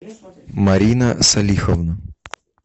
марина салиховна